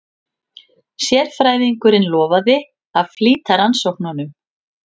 Sérfræðingurinn lofaði að flýta rannsóknunum.